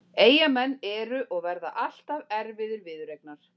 Eyjamenn eru og verða alltaf erfiðir viðureignar.